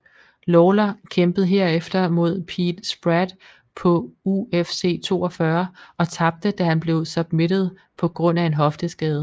Lawler kæmpede herefter mod Pete Spratt på UFC 42 og tabte da han blev submitted på grund af en hofteskade